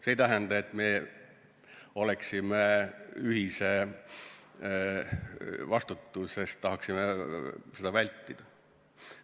See ei tähenda, et me oleksime ühise vastutuse vastu, tahaksime seda vältida.